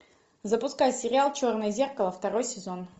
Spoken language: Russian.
запускай сериал черное зеркало второй сезон